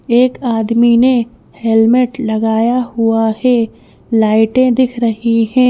एक आदमी ने हेलमेट लगाया हुआ है लाइटें दिख रही हैं।